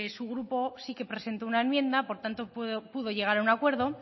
su grupo sí que presentó una enmienda por tanto pudo llegar a un acuerdo